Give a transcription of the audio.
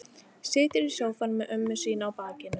Situr í sófanum með ömmu sína á bakinu.